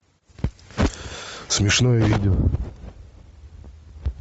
смешное видео